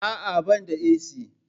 Aa, bani da AC